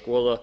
skoða